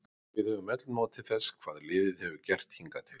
Við höfum öll notið þess hvað liðið hefur gert hingað til.